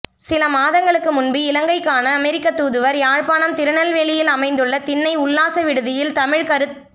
சில மாதங்களுக்கு முன்பு இலங்கைக்கான அமெரிக்க தூதுவர் யாழ்ப்பாணம் திருநெல்வேலியில் அமைந்துள்ள திண்ணை உல்லாச விடுதியில் தமிழ் கருத்